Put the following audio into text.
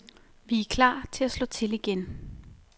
Vi er klar til at slå til igen.